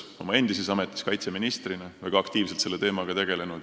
Oma endises kaitseministriametis tegelesin väga aktiivselt selle teemaga.